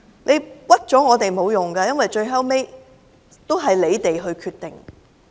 冤枉我們是沒有用的，因為最終也是你們的決定。